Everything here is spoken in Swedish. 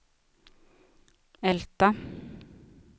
Älta